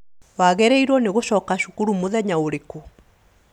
Wagĩrĩirwo nĩ gũcoka cukuru mũthenya ũrikũ